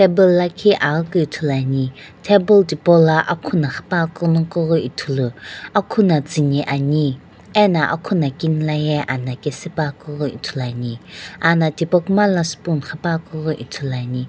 table lakhi aghikeu ithulu ani table thipaula akhuna qhipa keu ithulu akuna tsuni ani ano akhuna kini laye ana kisu pa keu ghi ithulu ani ana tipaukuma la spoon qhipa keu ithulu ani.